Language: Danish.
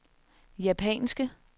japanske